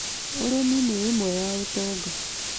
Ũrĩmi nĩ ĩmwe ya ũtonga